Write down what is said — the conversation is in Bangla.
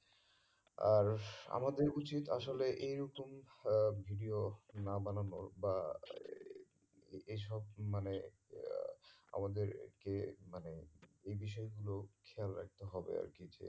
আর আমাদের উচিত আসলে এইরকম আহ video না বানানোর বা এই সব মানে ইয়া আমাদেরকে মানে এই বিষয়গুলো খেয়াল রাখতে হবে আর কি